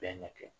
Bɛɛ ma kɛ